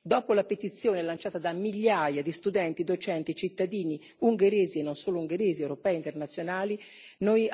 Dopo la petizione lanciata da migliaia di studenti, docenti e cittadini, ungheresi e non solo ungheresi ma anche europei e internazionali, noi ieri